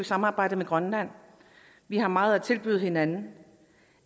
samarbejdet med grønland vi har meget at tilbyde hinanden